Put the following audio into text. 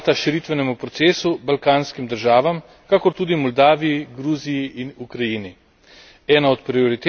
Bolj pa moramo odpreti vrata širitvenemu procesu, balkanskim državam, kakor tudi Moldaviji, Gruziji in Ukrajini.